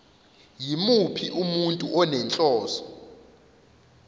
yimuphi umuntu onenhloso